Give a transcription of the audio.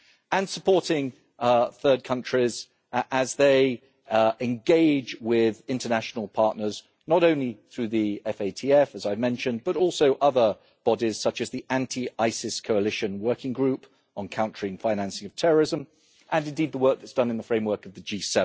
and supporting third countries as they engage with international partners, not only through the FATF, as I mentioned, but also other bodies such as the Anti ISIS Coalition working group on countering financing of terrorism, and indeed the work that is done in the framework of the G